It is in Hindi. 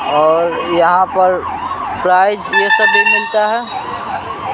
और यहाँ पर फ्राइज़ यह सब भी मिलता है।